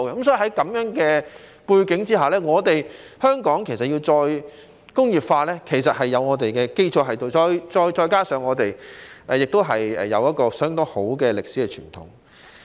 所以，在這樣的背景下，香港要再工業化，其實已有一定基礎，再加上我們有一個相當好的歷史傳統。